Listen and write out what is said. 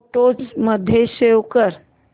photos मध्ये save कर